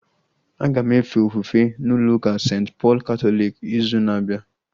Aga m efe ofufe n'ụlọ ụka St. Pọl katọliki ịzụ na-abịa